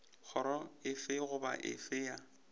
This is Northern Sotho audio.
kgoro efe goba efe ya